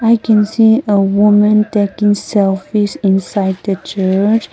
i can see a woman taking selfies inside the church.